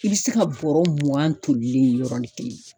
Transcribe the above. I bɛ se ka bɔrɔ mugan tolilen yen yɔrɔnin kelen.